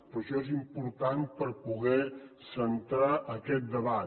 però això és important per poder centrar aquest debat